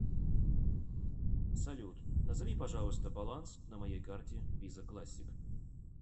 салют назови пожалуйста баланс на моей карте виза классик